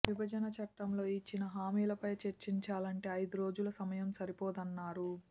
విభజన చట్టంలో ఇచ్చిన హామీలపై చర్చించాలంటే ఐదు రోజుల సమయం సరిపోదన్నారు